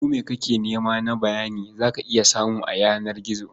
Komai kake nema na bayani za ka iya samu a yanar gizo.